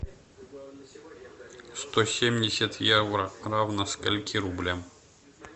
сто семьдесят евро равно скольки рублям